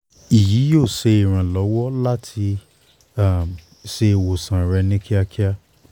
iyi yoo ṣe iranlọwọ lati um ṣe iwosan rẹ ni kiakia